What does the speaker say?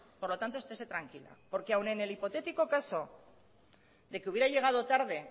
por lo tanto estese tranquila porque aún en el hipotético caso de que hubiera llegado tarde